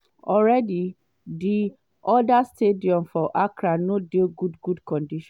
already di oda stadium for accra no dey good good condition.